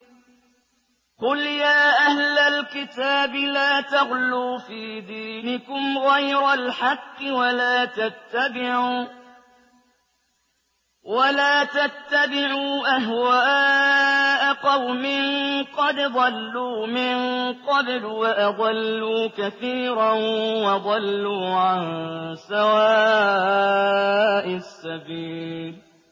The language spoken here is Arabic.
قُلْ يَا أَهْلَ الْكِتَابِ لَا تَغْلُوا فِي دِينِكُمْ غَيْرَ الْحَقِّ وَلَا تَتَّبِعُوا أَهْوَاءَ قَوْمٍ قَدْ ضَلُّوا مِن قَبْلُ وَأَضَلُّوا كَثِيرًا وَضَلُّوا عَن سَوَاءِ السَّبِيلِ